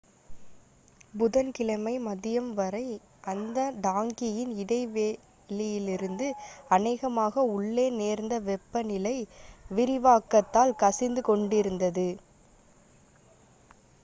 புதன் கிழமை மதியம் வரை அந்த டாங்கியின் இடைவெளியிலிருந்து அநேகமாக உள்ளே நேர்ந்த வெப்ப நிலை விரிவாக்கத்தால் கசிந்து கொண்டிருந்தது